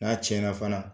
N'a tiɲɛna fana